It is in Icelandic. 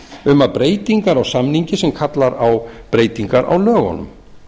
um að breytingar á samningi sem kallar á breytingar á lögunum